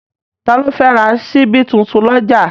Ta ló fẹ́ ra ṣíbí tuntun lọ́jà?